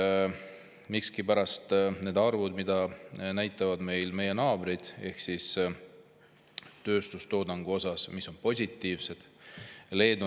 Aga miskipärast need arvud, mida näitavad meie naabrid tööstustoodangu kohta, on positiivsed.